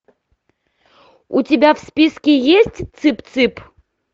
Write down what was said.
у тебя в списке есть цып цып